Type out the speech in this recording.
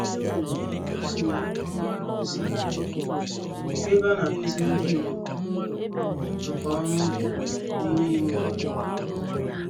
O sonyere ihe omume nkụzi ìhè, bụ ébé anakuziri ndinyom nka-oru-ubi, n'ime ime obodo.